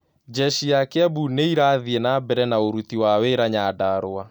Jeci ya kiambu nĩirathie nambere na ũruti wa wĩraa Nyandarua